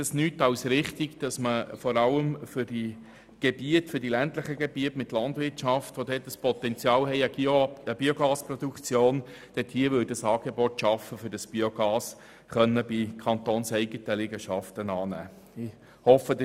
Es wäre nichts als richtig, wenn man für die ländlichen Gebiete mit Landwirtschaft, die ein entsprechendes Potenzial für die Biogasproduktion aufweisen, ein Angebot schaffen würde, um das Biogas für kantonseigene Liegenschaften zu verwenden.